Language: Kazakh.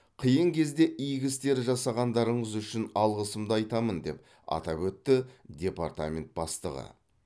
қиын кезде игі істер жасағандарыңыз үшін алғысымды айтамын деп атап өтті департамент бастығы